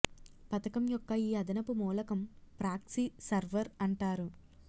పథకం యొక్క ఈ అదనపు మూలకం ప్రాక్సీ సర్వర్ అంటారు